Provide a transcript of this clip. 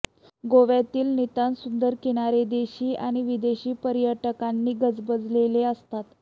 गोव्यातील नितांत सुंदर किनारे देशी आणि विदेशी पर्यटकांनी गजबजलेले असतात